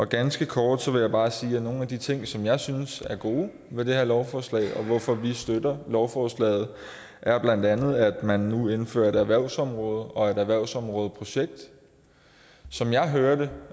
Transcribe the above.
ganske kort vil jeg bare sige at nogle af de ting som jeg synes er gode ved det her lovforslag og hvorfor vi støtter lovforslaget blandt andet er at man nu indfører et erhvervsområde og et erhvervsområdeprojekt som jeg hører det